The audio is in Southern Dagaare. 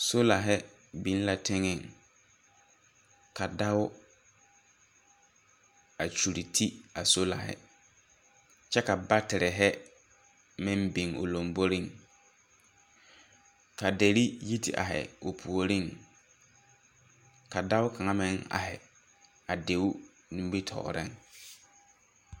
Solahe biŋ la teŋeŋ, ka dao a kyuri ti a solahe kyɛ ka baterehe meŋ biŋ o lomboriŋ, ka deri yi te ahe o puoriŋ, ka dao kaŋa meŋ ahe a deo nimitɔɔheŋ.